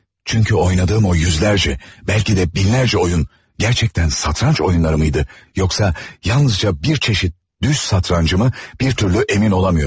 Çünki oynadığım o yüzlərcə, bəlkə də minlərcə oyun gerçekten satranç oyunlarımıydı, yoxsa yalnızca bir çeşit düz satrancımı, bir türlü emin olamıyorum.